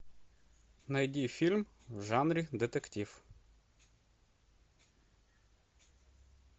найди фильм в жанре детектив